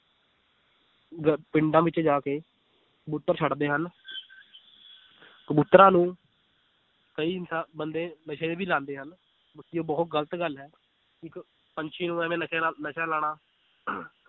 ਗ~ ਪਿੰਡਾਂ ਵਿੱਚ ਜਾ ਕੇ ਕਬੂਤਰ ਛੱਡਦੇ ਹਨ ਕਬੂਤਰਾਂ ਨੂੰ ਕਈ ਇਨਸਾ~ ਬੰਦੇ ਨਸ਼ੇ ਵੀ ਲਾਉਂਦੇ ਹਨ, ਇਹ ਬਹੁਤ ਗ਼ਲਤ ਗੱਲ ਹੈ ਇੱਕ ਪੰਛੀ ਨੂੰ ਇਵੇਂ ਨਸ਼ਾ ਲਾਉਣਾ